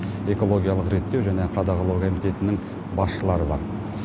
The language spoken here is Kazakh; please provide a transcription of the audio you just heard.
экологиялық реттеу және қадағалау комитетінің басшылары бар